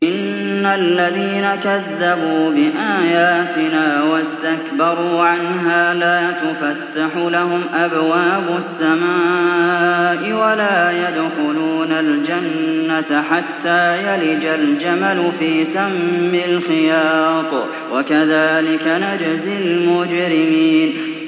إِنَّ الَّذِينَ كَذَّبُوا بِآيَاتِنَا وَاسْتَكْبَرُوا عَنْهَا لَا تُفَتَّحُ لَهُمْ أَبْوَابُ السَّمَاءِ وَلَا يَدْخُلُونَ الْجَنَّةَ حَتَّىٰ يَلِجَ الْجَمَلُ فِي سَمِّ الْخِيَاطِ ۚ وَكَذَٰلِكَ نَجْزِي الْمُجْرِمِينَ